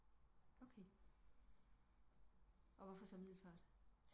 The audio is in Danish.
Okay og hvorfor så Middelfart